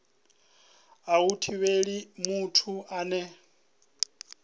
a hu thivheli muthu ane